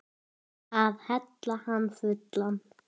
Algert öngvit!